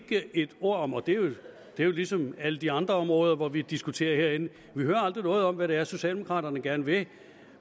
et ord om og det er jo ligesom alle de andre områder hvor vi diskuterer herinde hvad det er socialdemokraterne gerne vil